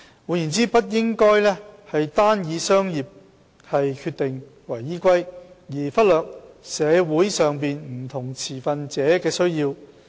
換言之，不應該單以商業決定為依歸，而忽略社會上不同持份者的需要。